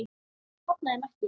Ég hafna þeim ekki.